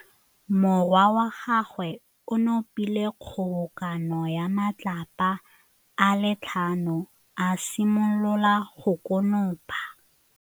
Morwa wa gagwe o nopile kgobokanô ya matlapa a le tlhano, a simolola go konopa.